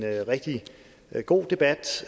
rigtig god debat